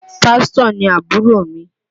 Pásítọ̀ ni àbúrò mi